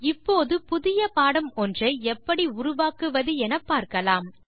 இப்போது புதிய பாடம் ஒன்றை எப்படி உருவாக்குவது என்று பார்க்கலாம்